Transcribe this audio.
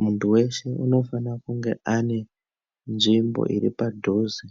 Muntu veshe unofane kunge ane nzvimbo iri padhuze